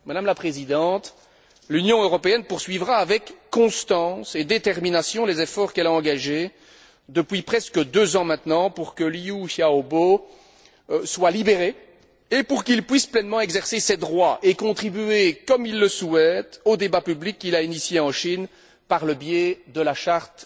Madame la Présidente, l'Union européenne poursuivra avec constance et détermination les efforts qu'elle a engagés depuis presque deux ans maintenant pour que Liu Xiaobo soit libéré et pour qu'il puisse pleinement exercer ses droits et contribuer, comme il le souhaite, au débat public qu'il a initié en Chine par le biais de la Charte